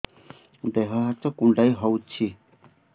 ଦେହ ହାତ କୁଣ୍ଡାଇ ହଉଛି